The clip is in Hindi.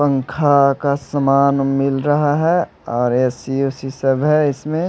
पंखा का समान मिल रहा है और ए_सी वेसी सब है इसमें।